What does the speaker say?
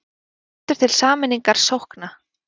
Hvetur til sameiningar sókna